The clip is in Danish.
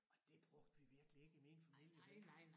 Og det brugte vi virkelig ikke i min familie vel